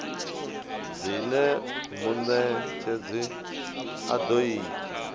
zwine munetshedzi a do ita